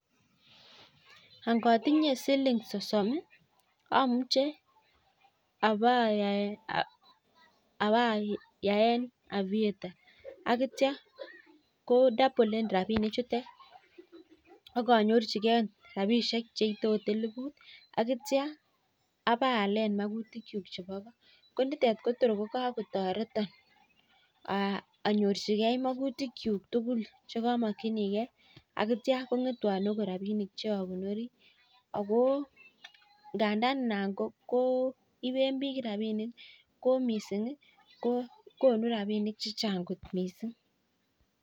Angatinye siling sosom amuche awayaen aviator akitya kodabolen rabinik chutet akinyorchigei cheite okot elibut akitya awe ayalen makutik chuk cheu chebo ko Kotor kikakotareton anyorchigei makutik chuk tugul chekamakinigeiakitya kongetwon okot rabinik chekonori ako ngandan anan koiben bik rabinik mising ko konu rabinik chechang kot mising